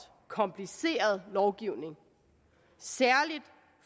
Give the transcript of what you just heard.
kompliceret lovgivning særlig